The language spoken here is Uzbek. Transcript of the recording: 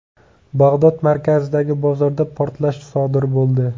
Bag‘dod markazidagi bozorda portlash sodir bo‘ldi.